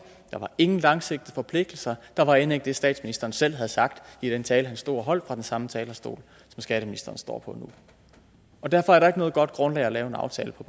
der var ingen langsigtede forpligtelser der var end ikke det statsministeren selv havde sagt i den tale han stod og holdt fra den samme talerstol som skatteministeren står på nu derfor er der ikke noget godt grundlag at lave en aftale på